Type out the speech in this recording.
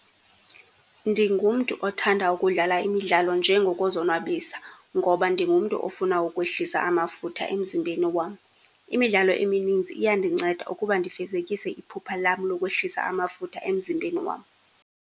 Ndingumntu othanda ukudlala imidlalo nje ngokuzonwabisa, ngoba ndingumntu ofuna ukwehlisa amafutha emzimbheni wam. Imidlalo emininzi iyandinceda ukuba ndifezekise iphupha lam lokwehlisa amafutha emzimbheni wam.